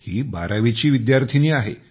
ही बारावीची विद्यार्थिनी आहे